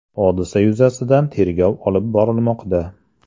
Hodisa yuzasidan tergov olib borilmoqda.